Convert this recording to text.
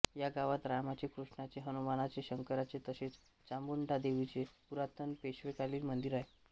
या गावात रामाचे क्रुष्णाचे हणुमाणाचे शंकराचे तसेच चामुंडादेवीचे पुरातण पेशवेकालीन मंदिर आहे